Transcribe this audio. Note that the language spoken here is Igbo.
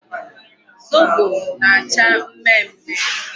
Zobo na-acha mmemme.